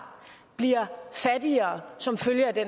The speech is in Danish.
bliver fattigere som følge af det